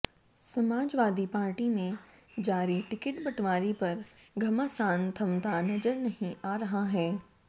Samajwadi Party में जारी ticket बंटवारे पर घमासान थमता नजर नहीं आ रहा है